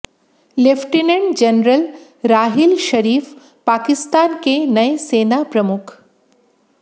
lieutenant general Raheel Sharif Pakistan के नए सेना प्रमुख